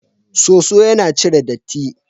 Soso yana cire datti.